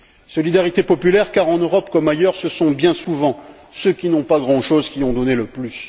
Solidarité populaire car, en Europe comme ailleurs, ce sont bien souvent ceux qui n'ont pas grand chose qui ont donné le plus.